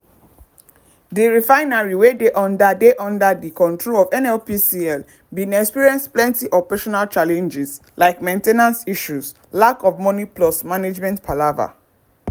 di refinery wey dey under dey under di control of nnpcl bin experience plenty operational challenges like main ten ance issues lack of money plus management palava.